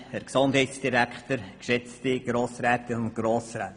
Der Postulant hat das Wort.